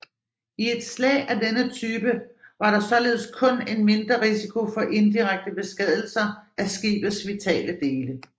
I et slag af denne type var der således kun en mindre risiko for indirekte beskadigelser af skibets vitale dele